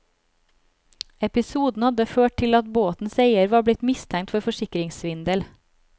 Episoden hadde ført til at båtens eier var blitt mistenkt for forsikringssvindel.